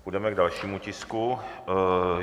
Půjdeme k dalšímu tisku.